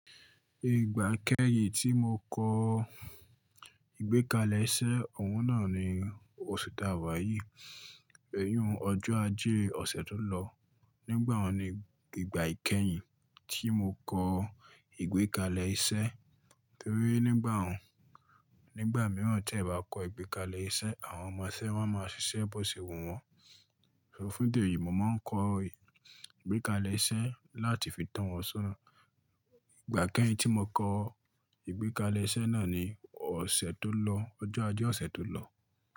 Ìgbà kẹ́yìn tí mo kọ ìgbékalẹ̀ iṣẹ́, òun náà ni ósu ti á wá yìí. Èyí òun ọjọ́ ajé ọ̀sẹ̀ tó lọ. Nígbà wo ni ìgbà ìkẹyìn tí mo kọ ìgbékalẹ̀ iṣẹ́? Torí nígbà un, nígbà mìíràn tí ẹ bá kọ ìgbékalẹ̀ iṣẹ́, àwọn ọmọ iṣẹ́ máa ma ṣiṣẹ́ bó ṣe wùn wọ́n. Ṣò fun idi eyi, mo máa ń kọ ìgbékalẹ̀ iṣẹ́ láti fi to wọn sọ́na. Ìgbà kẹ́yìn tí mo kọ ìgbékalẹ̀ iṣẹ́ náà ni ọ̀sẹ̀ tó lọ, ọjọ́ ajé ọ̀sẹ̀ tó lọ.